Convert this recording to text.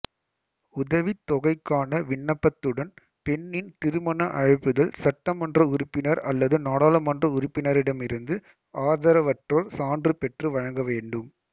உதவித்தொகைக்கான விண்ணப்பத்துடன் பெண்ணின் திருமண அழைப்பிதழ் சட்ட மன்ற உறுப்பினர் அல்லது நாடாளுமன்ற உறுப்பினரிடமிருந்து ஆதரவற்றோர் சான்று பெற்று வழங்கவேண்டும்